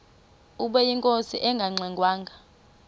ubeyinkosi engangxe ngwanga